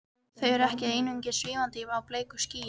Þau eru ekki einungis svífandi á bleiku skýi.